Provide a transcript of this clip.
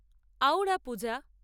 আউড়া পূজা